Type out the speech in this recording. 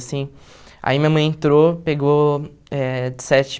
Assim. Aí minha mãe entrou, pegou eh de